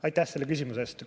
Aitäh selle küsimuse eest!